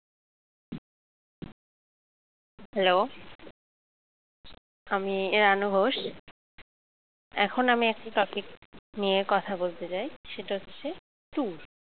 hello আমি রানু ঘোষ এখন আমি একটি topic নিয়ে কথা বলতে চাই সেটা হচ্ছে tour